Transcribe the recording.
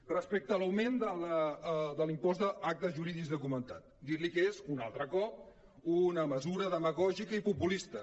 respecte a l’augment de l’impost d’actes jurídics documentats dir·li que és un altre cop una mesura demagògica i populista